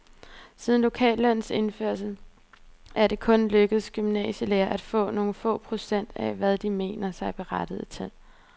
Siden lokallønnens indførelse er det kun lykkedes gymnasielærerne at få nogle få procent af, hvad de mener sig berettiget til.